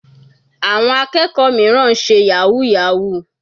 Àwọn akẹ́kọ̀ọ́ mìíràn ń ṣe yahoo yahoo.